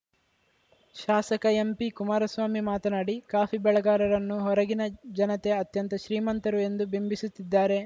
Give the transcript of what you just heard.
ಶಾಸಕ ಎಂಪಿ ಕುಮಾರಸ್ವಾಮಿ ಮಾತನಾಡಿ ಕಾಫಿ ಬೆಳೆಗಾರರನ್ನು ಹೊರಗಿನ ಜನತೆ ಅತ್ಯಂತ ಶ್ರೀಮಂತರು ಎಂದು ಬಿಂಬಿಸುತ್ತಿದ್ದಾರೆ